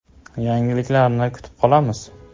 Yangiliklarni kutib qolamiz!